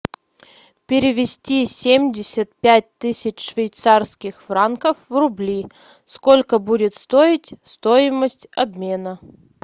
перевести семьдесят пять тысяч швейцарских франков в рубли сколько будет стоить стоимость обмена